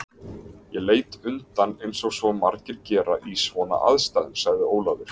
Ég leit undan eins og svo margir gera í svona aðstæðum sagði Ólafur.